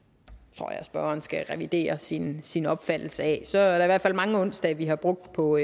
tror jeg spørgeren skal revidere sin sin opfattelse af der er i hvert fald mange onsdage vi har brugt på